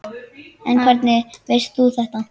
En hvernig veist þú þetta?